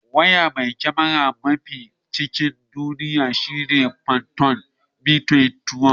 Waya mai kyamara mafi sauri a cikin duniya shine fantom v2012.